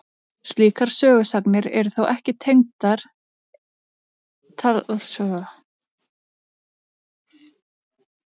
Slíkar sögusagnir eru þó ekki taldar eiga við rök að styðjast.